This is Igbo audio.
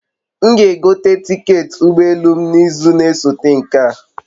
M g'egote tiketị ụgbọ elu m n'izu na-esote nke a